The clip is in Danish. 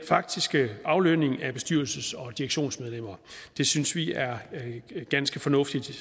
faktiske aflønning af bestyrelses og direktionsmedlemmer det synes vi er ganske fornuftigt